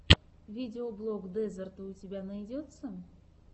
видеоблог дезерта у тебя найдется